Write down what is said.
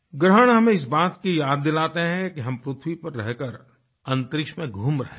ग्रहण हमें इस बात की याद दिलाते हैं कि हम पृथ्वी पर रहकर अंतरिक्ष में घूम रहे हैं